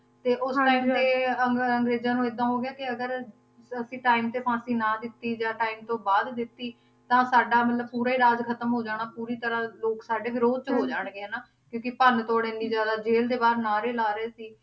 ਤੇ ਉਹ ਹੁਣ ਇਸਦੇ ਅੰ~ ਅੰਗਰੇਜਾਂ ਨੂੰ ਏਦਾਂ ਹੋ ਗਿਆ ਕਿ ਅਗਰ ਅਸੀਂ time ਤੇ ਫਾਂਸੀ ਨਾ ਦਿੱਤੀ ਜਾਂ time ਤੋਂ ਬਾਅਦ ਦਿੱਤੀ ਤਾਂ ਸਾਡਾ ਮਤਲਬ ਪੂਰਾ ਹੀ ਰਾਜ ਖਤਮ ਹੋ ਜਾਣਾ ਪੂਰੀ ਤਰ੍ਹਾਂ ਲੋਕ ਸਾਡੇ ਵਿਰੋਧ 'ਚ ਹੋ ਜਾਣਗੇ ਹਨਾ, ਕਿਉਂਕਿ ਭੰਨ ਤੋੜ ਇੰਨੀ ਜ਼ਿਆਦਾ, ਜ਼ੇਲ ਦੇ ਬਾਹਰ ਨਾਅਰੇ ਲਾ ਰਹੇ ਸੀ,